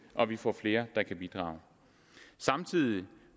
og vi får flere der kan bidrage samtidig